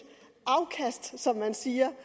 afkast som man siger